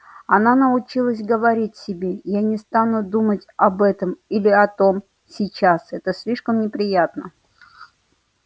она научилась говорить себе я не стану думать об этом или о том сейчас это слишком неприятно